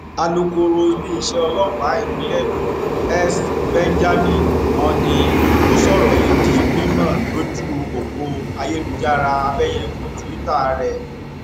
alūkọrọ iléeṣẹ ọlọpàá ìpínlẹ èkó s benjamin hondyin ló sọrọ yìí di mímọ lójú ọpọ ayélujára abẹyẹfọ túìta rẹ